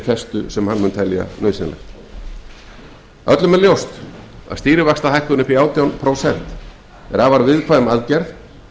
festu en hingað til öllum er ljóst að stýrivaxtahækkun upp í átján prósent er afar viðkvæm aðgerð